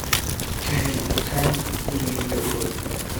ka hel dukaan gurigayga u dhow